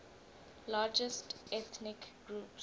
largest ethnic groups